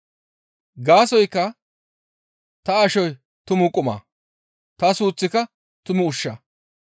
Gaasoykka ta ashoy tumu quma; ta suuththika tumu ushsha.